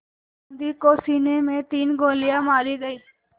गांधी को सीने में तीन गोलियां मारी गईं